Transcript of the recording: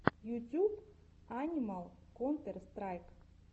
ютьюб анимал контер страйк